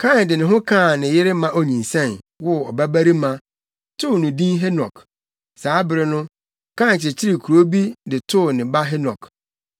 Kain de ne ho kaa ne yere na onyinsɛn, woo ɔbabarima, too no din Henok. Saa bere no, Kain kyekyeree kurow bi de too ne ba Henok.